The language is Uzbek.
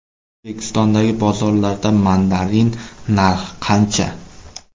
O‘zbekistondagi bozorlarda mandarin narxi qancha?.